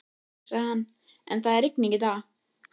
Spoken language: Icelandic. Jú, sagði hann, en það er rigning í dag.